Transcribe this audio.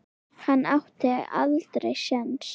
Hann átti aldrei séns.